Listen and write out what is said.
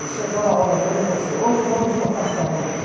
Ele chegava na aula dele e falava assim, hoje vamos matar Camões.